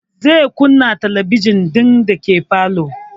Zai kunna talabijin ɗin dake falo